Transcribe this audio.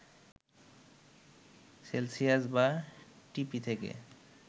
Celsius বা ঢিপি থেকে